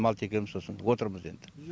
мал текеміз сосын отырмыз енді